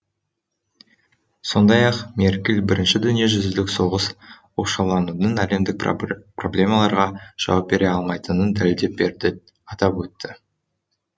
сондай ақ меркель бірінші дүниежүзілік соғыс оқшауланудың әлемдік проблемаларға жауап бере алмайтынын дәлелдеп берді атап өтті